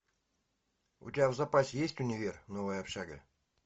у тебя в запасе есть универ новая общага